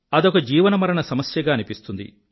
అదొక జీవనమరణ సమస్యగా అనిపిస్తుంది